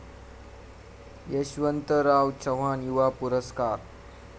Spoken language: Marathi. यशवंतराव चव्हाण युवा पुरस्कार